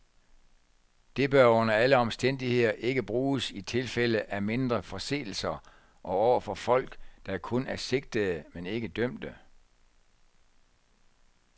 Det bør under alle omstændigheder ikke bruges i tilfælde af mindre forseelser og overfor folk, der kun er sigtede men ikke dømte.